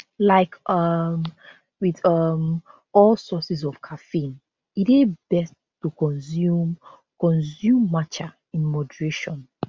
like um wit um all sources of caffeine e dey best to consume consume matcha in moderation